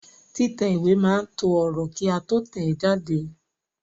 Títẹ̀ ìwé máa to ọ̀rọ̀ kí a tó tẹ̀ẹ́ jáde